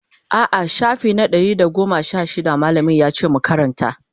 a'a shafi na Ɗari da goma Sha shida mallamin yace mu Karanta